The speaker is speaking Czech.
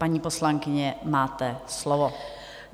Paní poslankyně, máte slovo.